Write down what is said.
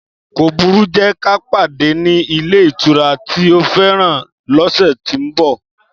Kóbùrú, jẹ kà padẹ ni ilé ìtura tí ó fẹ́ràn lóṣe tí mbo